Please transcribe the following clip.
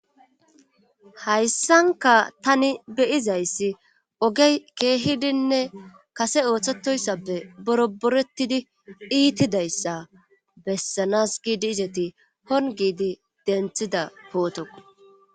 Hayssanka tani be'iza issi ogey keehidinne kase oosetosappe boroboretidi iitida issa bessanas giidi izeti hon gidi denthida pooto.